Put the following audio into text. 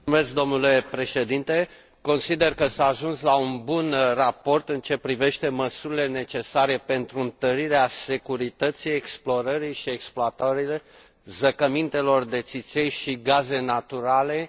Consider că s a ajuns la un bun raport în ceea ce privește măsurile necesare pentru întărirea securității explorării și exploatării zăcămintelor de țiței și gaze naturale din mări și oceane.